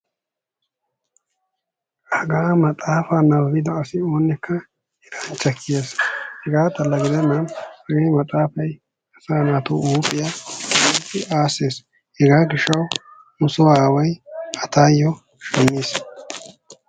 hagaa maxaafaa nababbida asi oonikka erancha gidees, hagaa maxaafa nababida asa ooyooka huuphiya aasees, hegaa gishawu nusoo aaway taayo maxaafaa shamiis.